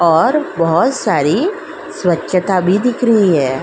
और बहुत सारी स्वच्छता भी दिख रही है।